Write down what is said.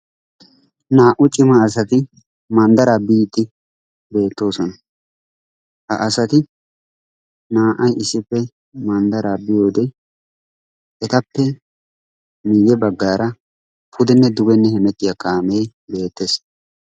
Naa'u cima asati manddaraa biidi betosona. Ha asati naa'ay issippe manddaraa biiyode etappe miye baggaara pudene dugene hemettiya kaame beetees.